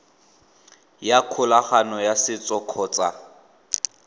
ya kgolagano ya setso kgotsa